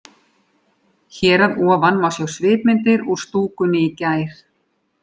Hér að ofan má sjá svipmyndir úr stúkunni í gær.